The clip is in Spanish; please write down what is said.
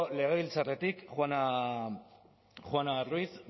legebiltzarretik juana ruiz